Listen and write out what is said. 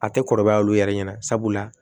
A tɛ kɔrɔbaya olu yɛrɛ ɲɛna sabula